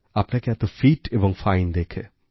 আপনাকে এত ফিট এবং ফাইন দেখে